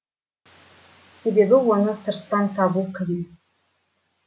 себебі оны сырттан табу қиын